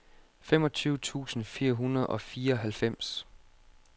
femogtyve tusind fire hundrede og fireoghalvfems